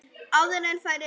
Áður en færi að frjósa.